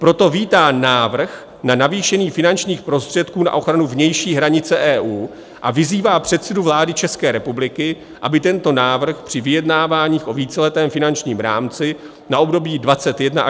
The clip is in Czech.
Proto vítá návrh na navýšení finančních prostředků na ochranu vnější hranice EU a vyzývá předsedu vlády České republiky, aby tento návrh při vyjednáváních o víceletém finančním rámci na období 2021 až 2027 podpořil."